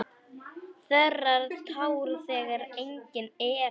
Þerrar tár þegar engin eru.